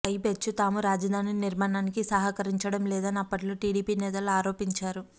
పైపెచ్చు తాము రాజధాని నిర్మాణానికి సహకరించడంలేదని అప్పట్లో టీడీపీ నేతలు ఆరోపించారు